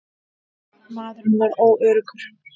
Maðurinn varð óöruggur.